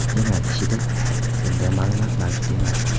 Jinoyat ishida bunday ma’lumot mavjud emas.